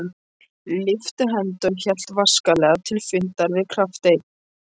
lyfti hendi og hélt vasklega til fundar við kafteininn.